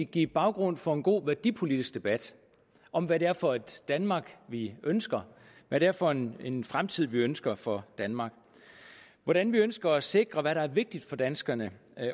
give baggrund for en god værdipolitisk debat om hvad det er for et danmark vi ønsker hvad det er for en en fremtid vi ønsker for danmark og hvordan vi ønsker at sikre hvad der er vigtigt for danskerne